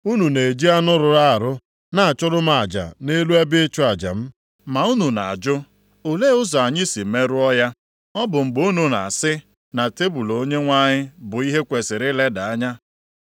“Unu na-eji anụ rụrụ arụ na-achụrụ m aja nʼelu ebe ịchụ aja m. “Ma unu na-ajụ, ‘Olee ụzọ anyị si merụọ ya?’ “Ọ bụ mgbe unu na-asị na tebul Onyenwe anyị bụ ihe e kwesiri ileda anya.